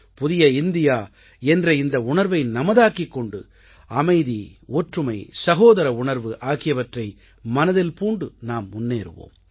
புதிய இந்தியா என்ற இந்த உணர்வை நமதாக்கிக் கொண்டு அமைதி ஒற்றுமை சகோதர உணர்வு ஆகியவற்றை மனதில் பூண்டு நாம் முன்னேறுவோம்